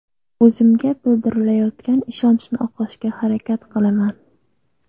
O‘zimga bildirilayotgan ishonchni oqlashga harakat qilaman.